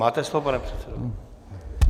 Máte slovo, pane předsedo.